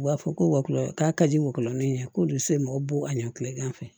U b'a fɔ ko walon k'a ka di walɔminɛn ko don so mɔgɔw b'o a ɲɛ kilegan fɛ